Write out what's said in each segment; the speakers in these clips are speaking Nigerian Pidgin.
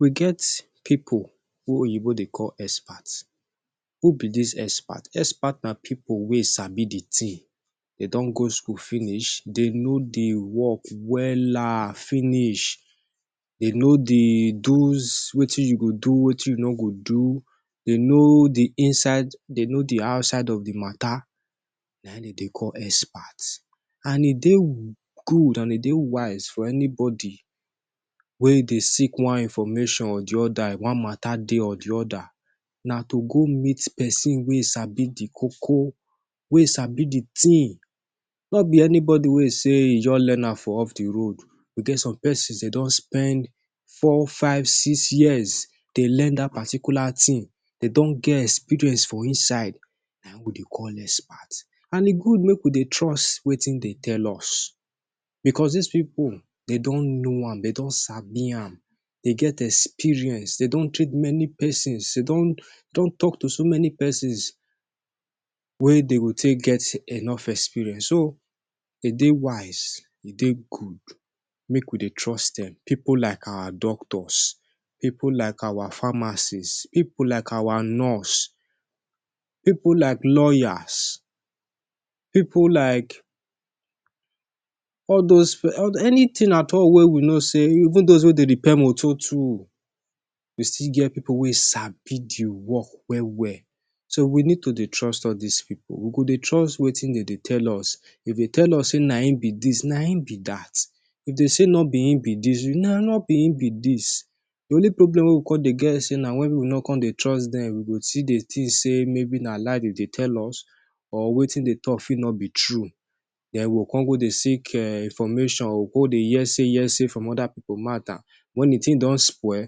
We get pipu wey Oyinbo dey call expert. Who be dis expert? Expert na pipu wey sabi di tin. Dem don go school finish. Dem know di work wella finish. Dem know di dos wetin you go do, wetin you no go do. Dem know di inside, dem know di outside of di matta, na im dem dey call expert. And e dey good and e dey wise for anybody wey dey seek one information or di oda, one matta dey or di oda, na to go meet pesin wey sabi di koko, wey sabi di tin, no be anybody wey say e just learn am for off di road. We get some pesins wey don spend four, five, six years dey learn dat particular tin. Dem don get experience for inside. Na im we dey call expert, and e good make we dey trust wetin dem dey tell us because dis pipu don know am, don sabi am, dey get experience. Dem don treat many pesins, dem don tok to so many pesins wey dey go take get enough experience. So, dem dey wise. E dey good make we dey trust dem, pipu like our doctors, pipu like our pharmacists, pipu like our nurses, pipu like lawyers, pipu like all dose anytin at all wey we know say even dose wey dey repair motor too, you still get pipu wey sabi di work well well. So we need to dey trust all dis pipu. We go dey trust wetin dem dey tell us. If dem tell us say na im be dis, na im be dat. If dem say no be im be dis, no be im be dis. Di only problem wey we come dey get na say wen we no come dey trust dem, we go still dey think say maybe na lie dem dey tell us or wetin dem dey talk fit no be true. Den we go come dey seek information, go dey hear say heresy from oda pipu mouth. Wen di tin don spoil,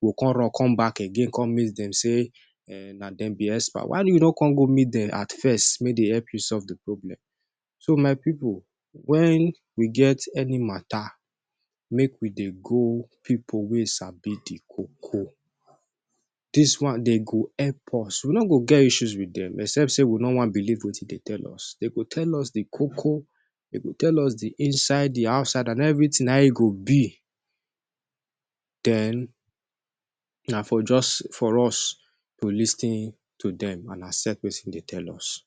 we go come run come back again, come make dem say na dem be expert. Why you no come go meet dem at first make dem help you solve di matta? So my pipu, wen we get any matta, make we dey go pipu wey sabi di koko. Dis one dem go help us. We no go get issues wit dem except say we no wan believe wetin dem tell us. Dem go tell us di koko, dem go tell us di inside, di outside and evritin and how e go be den na for just for us to lis ten to dem and accept wetin dem tell us.